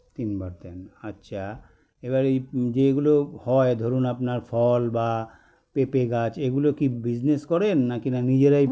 তিনবার দেন আচ্ছা এবার এই যেগুলো হয় ধরুন আপনার ফল বা পেঁপে গাছ এগুলো কী business করেন নাকিনা নিজেরাই